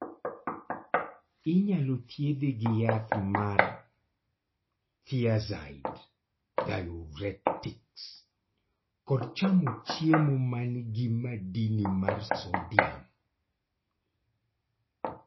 inyalo thiedhe gi yath mar thiazide diuretics kod chamo chiemo man gi madini mar sodiam